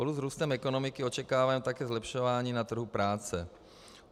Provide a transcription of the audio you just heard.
Spolu s vzrůstem ekonomiky očekáváme také zlepšování na trhu práce.